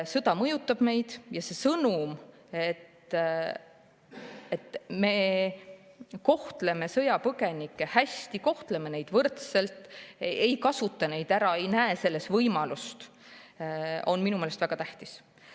Sõda mõjutab meid ja see sõnum, et me kohtleme sõjapõgenikke hästi, kohtleme võrdselt, ei kasuta neid ära, ei näe neis selleks võimalust, on minu meelest väga tähtis.